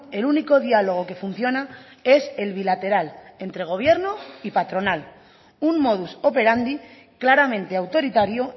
el único diálogo que funciona es el bilateral entre gobierno y patronal un modus operandi claramente autoritario